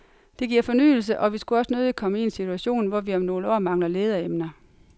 Det giver fornyelse, og vi skulle også nødigt komme i en situation, hvor vi om nogle år mangler lederemner.